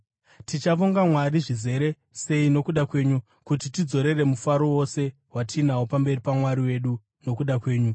Tichavonga Mwari zvizere sei nokuda kwenyu kuti tidzorere mufaro wose watinawo pamberi paMwari wedu nokuda kwenyu?